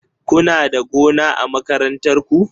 Kuna da gona a makarantar ku?